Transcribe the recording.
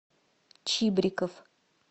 чибриков